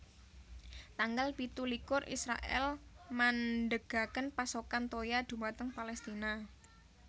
Tanggal pitu likur Israèl mandhegaken pasokan toya dhumateng Palestina